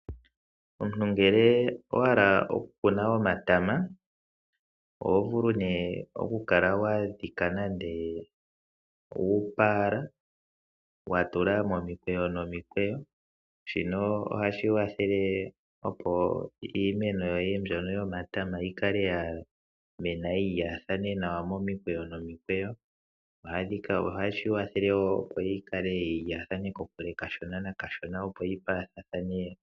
Omuntu ngele owahala okukuna omatama oho vulu ne okukala wadhika nande uupaala watulwa momikweyo nomikweyo, shino ohashi wathele opo iimeno yoye mbyono yomatama yikale yamena yilathane nawa momikweyo nomikweyo, naashika ohashikwathele wo opo yikale yilathane kokule nakashona nakashona opo yipaathane.